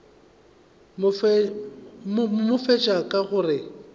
no fetša ka go re